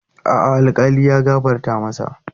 A'a, alkali ya gafarta masa.